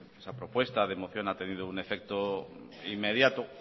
esa propuesta de moción ha tenido un efecto inmediato